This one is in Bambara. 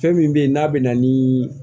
Fɛn min bɛ ye n'a bɛ na ni